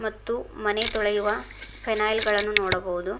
ಮತ್ತು ಮನೆ ತೊಳೆಯುವ ಫೇನಯ್ಲ್ ಗಳನ್ನು ನೋಡಬಹುದು.